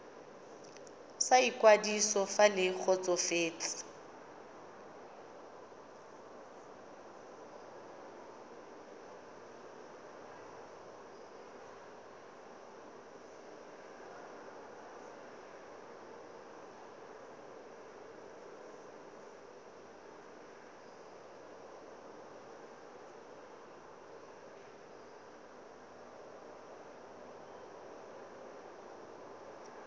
sa ikwadiso fa le kgotsofetse